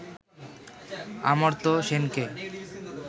অমর্ত্য সেনকে